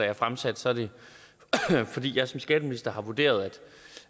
er fremsat så er det fordi jeg som skatteminister har vurderet